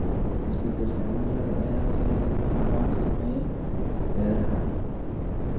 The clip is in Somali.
Isbeddelka cimilada ayaa keenaya abaaro saameeya beeraha.